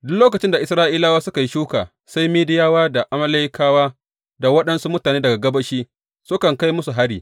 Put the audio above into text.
Duk lokacin da Isra’ilawa suka yi shuka sai Midiyawa da Amalekawa da waɗansu mutane daga gabashi sukan kai musu hari.